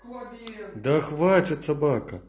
вроде да хватит собак